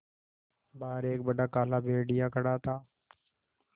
बाहर एक बड़ा काला भेड़िया खड़ा था